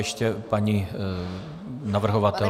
Ještě paní navrhovatelka.